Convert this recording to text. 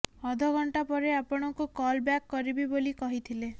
ଅଧ ଘଣ୍ଟା ପରେ ଆପଣଙ୍କୁ କଲ୍ ବ୍ୟାକ୍ କରିବି ବୋଲି କହିଥିଲେ